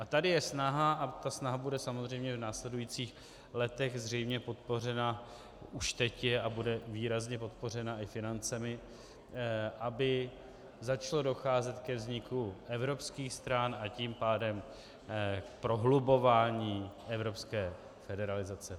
A tady je snaha, a ta snaha bude samozřejmě v následujících letech zřejmě podpořena, už teď je a bude výrazně podpořena i financemi, aby začalo docházet ke vzniku evropských stran, a tím pádem k prohlubování evropské federalizace.